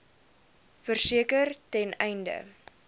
verseker ten einde